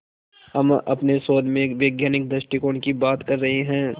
हम अपने शोध में वैज्ञानिक दृष्टिकोण की बात कर रहे हैं